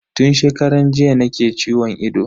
Tun shekaran jiya nake ciwon ido.